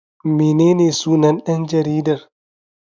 Menene sunan dan jaridar?